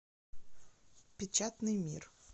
печатный мир